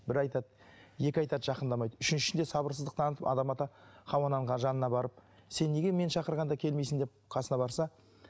бір айтады екі айтады жақындамайды үшіншінде сабырсыздық танытып адам ата хауа ананың жанына барып сен неге мен шақырғанда келмейсің деп қасына барса